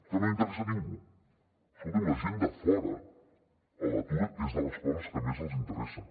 que no interessa a ningú escoltin a la gent de fora l’atur és de les coses que més els interessa